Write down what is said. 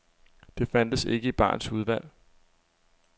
Det fandtes ikke i barens udvalg.